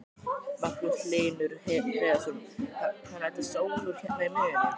Magnús Hlynur Hreiðarsson: Þannig að þetta sólúr hérna í miðjunni?